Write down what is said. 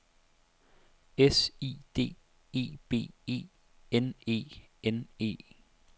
S I D E B E N E N E